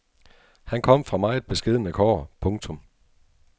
Han kom fra meget beskedne kår. punktum